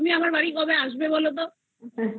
তুমি আমার বাড়ি কবে আসবে বলোতো